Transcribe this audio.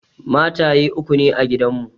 Mataye uku ne a gidan mu.